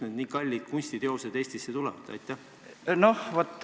Kust nii kallid kunstiteosed Eestisse tulevad?